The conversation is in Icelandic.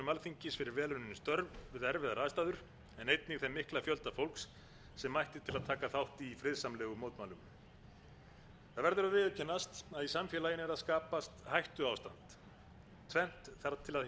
alþingis fyrir vel unnin störf við erfiðar aðstæður en einnig þeim mikla fjölda fólks sem mætti til að taka þátt í friðsamlegum mótmælum það verður að viðurkennast að í samfélaginu er að skapast hættuástand tvennt þarf til að hindra að það fari úr